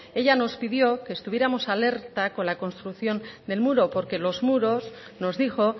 ella nos pidió que estuviéramos alerta con la construcción del muro porque los muros nos dijo